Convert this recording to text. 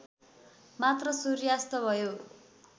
मात्र सूर्यास्त भयो